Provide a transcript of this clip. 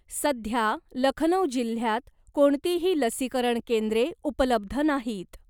सध्या लखनऊ जिल्ह्यात कोणतीही लसीकरण केंद्रे उपलब्ध नाहीत.